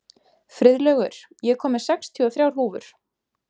Friðlaugur, ég kom með sextíu og þrjár húfur!